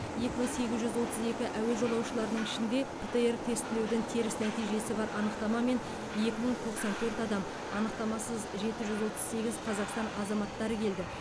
екі мың сегіз жүз отыз екі әуе жолаушыларының ішінде птр тестілеудің теріс нәтижесі бар анықтамамен екі мың тоқсан төрт адам анықтамасыз жеті жүз отыз сегіз қазақстан азаматтары келді